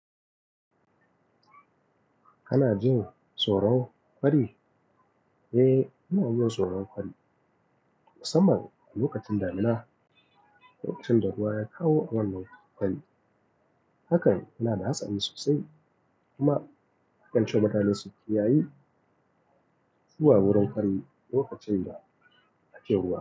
Kana jin soro farin? Eh, ina jin soro farin. Musamman lokacin damina, lokacin da ruwa ya kawo wannan fari. Hakan yanada hatsari sosai kuma akan cema mutane su kiyayi zuwa wurin kari lokacin da ake ruwa.